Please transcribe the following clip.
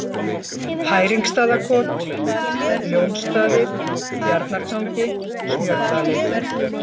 Hæringstaðakot, Ljónsstaðir, Bjarnartangi, Smjördalir